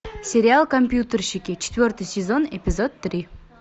сериал компьютерщики четвертый сезон эпизод три